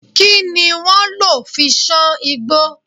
Kí ni wọ́n lò fi sán igbó?